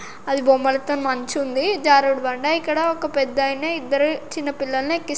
ఆది బొమ్మలాల్తో మంచు ఉంది జారుడబండ ఇక్కడ ఒక పెద్దాయన ఇద్దరు చిన్న పిల్లల్ని ఎక్కిస్తు--